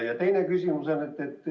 Ja teine küsimus.